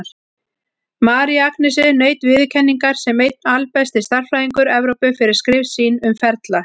María Agnesi naut viðurkenningar sem einn albesti stærðfræðingur Evrópu, fyrir skrif sín um ferla.